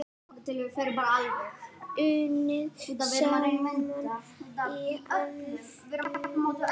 Unnið saman í einn massa.